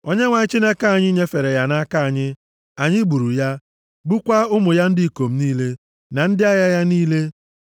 Onyenwe anyị Chineke anyị nyefere ya nʼaka anyị. Anyị gburu ya, gbukwaa ụmụ ya ndị ikom niile, na ndị agha ya niile.